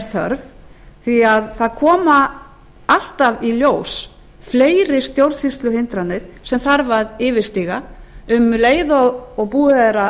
þörf því að það koma alltaf í ljós fleiri stjórnsýsluhindranir sem þarf að yfirstíga um leið og búið er